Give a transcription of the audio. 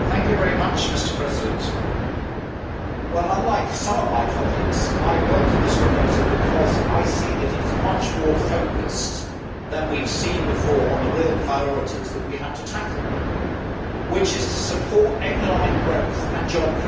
Mr President, unlike some of my colleagues, I welcome this proposal because I see that it is much more focused than we have seen before on the real priorities that we have to tackle, which are to support economic growth and job creation.